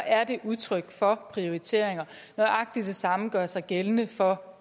er det udtryk for prioriteringer nøjagtig det samme gør sig gældende for